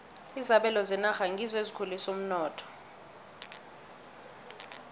izabelo zenarha ngizo ezikhulisa umnotho